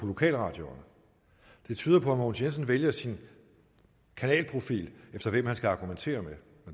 lokalradioerne det tyder på mogens jensen vælger sin kanalprofil efter hvem han skal argumentere